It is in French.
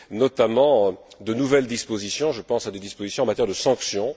notamment de nouvelles dispositions, je pense à des dispositions en matière de sanctions.